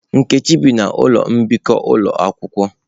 Nkechi bi na ụlọ mbikọ ụlọ akwụkwọ.